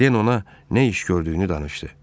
Den ona nə iş gördüyünü danışdı.